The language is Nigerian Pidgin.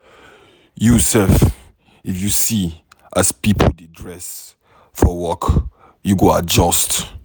You sef, if you see as pipo dey dress for work, you go adjust.